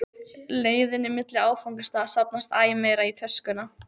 leiðinni milli áfangastaða safnast æ meira í töskuna.